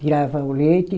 Tirava o leite.